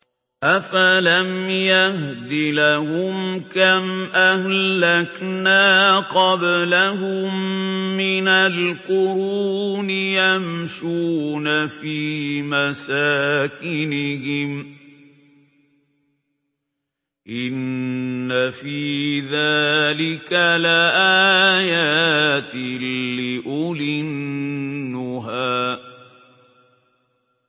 أَفَلَمْ يَهْدِ لَهُمْ كَمْ أَهْلَكْنَا قَبْلَهُم مِّنَ الْقُرُونِ يَمْشُونَ فِي مَسَاكِنِهِمْ ۗ إِنَّ فِي ذَٰلِكَ لَآيَاتٍ لِّأُولِي النُّهَىٰ